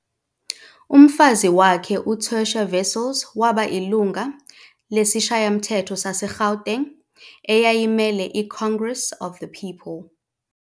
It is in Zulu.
Umfazi wakhe uTersia Wessels waba ilunga lesishayamthetho sase-Gauteng eyayimele i-Congress Of The People.